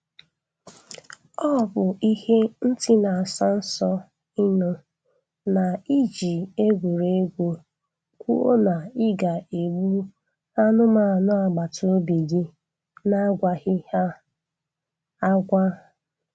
Ọ bụ ihe ntị na-asọ nsọ ịnụ na I ji egwuregwu kwuo na ị ga-egbu anụmanụ agbataobi gị na-agwaghị ha agwa